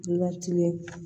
Latigɛ